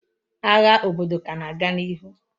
Agha obodo ka na-aga n'ihu.